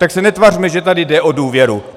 Tak se netvařme, že tady jde o důvěru.